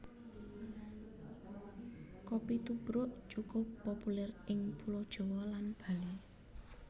Kopi tubruk cukup populèr ing Pulo Jawa lan Bali